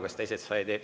Kas teised said?